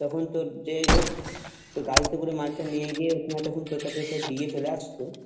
তখন তোর যেই হোক তো গাড়িতে করে মালটা নিয়ে গিয়ে ওখানে তখন তোর কাছে দিয়ে চলে আসতো